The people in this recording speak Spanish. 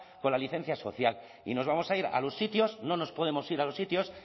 con la licencia social y nos vamos a ir a los sitios no nos podemos ir a los sitios